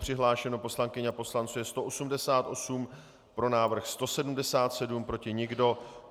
Přihlášeno poslankyň a poslanců je 188, pro návrh 177, proti nikdo.